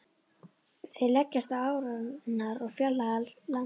Þeir leggjast á árarnar og fjarlægjast landið.